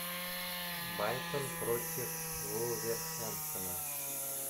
брайтон против вулверхэмптона